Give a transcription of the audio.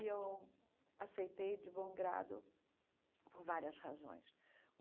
E eu aceitei de bom grado por várias razões.